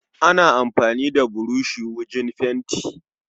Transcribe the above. Ana amfani da burushi wujen fenti